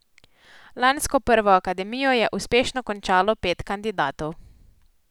Lansko prvo akademijo je uspešno končalo pet kandidatov.